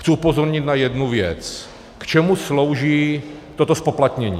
Chci upozornit na jednu věc - k čemu slouží toto zpoplatnění.